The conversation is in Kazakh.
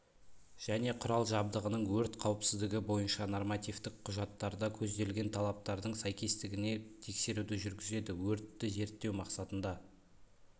және құрал-жабдығының өрт қауіпсіздігі бойынша нормативтік құжаттарда көзделген талаптардың сәйкестігіне тексеруді жүргізеді өртті зерттеу мақсатында